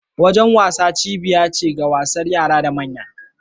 Wajen wasa cibiyar wasa ce ga yara da manya.